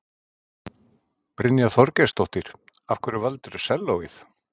Brynja Þorgeirsdóttir: Af hverju valdirðu sellóið?